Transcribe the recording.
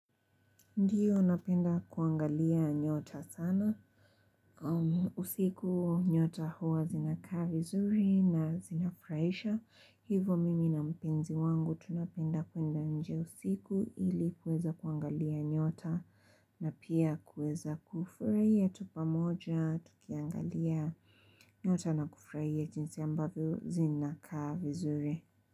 Ndiyo unapenda kuangalia nyota sana. Usiku nyota huwa zinaka vizuri na zinafraisha. Hivo mimi na mpenzi wangu tunapenda kuenda nje usiku ili kuweza kuangalia nyota. Na pia kuweza kufraia tupa moja, tukiangalia nyota na kufurahia jinsi ambavyo zinaka vizuri.